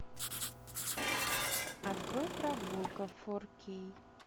открой прогулка фор кей